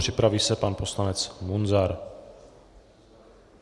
Připraví se pan poslanec Munzar.